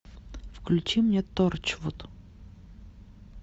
включи мне торчвуд